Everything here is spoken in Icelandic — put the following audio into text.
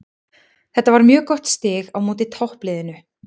Þetta var mjög gott stig á móti toppliðinu.